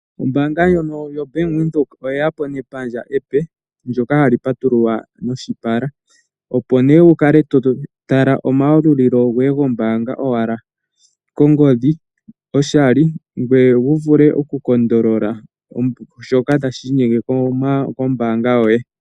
Ombaanga ndjono yoBank Windhoek oye ya po nepandja limwe ndyoka hali patululwa noshipala, opo nduno wu kale to tala omayalulilo goye gombaanga kongodhi ngoye wu vule okupatolola shoka tashi inyenge kombaanga yoye.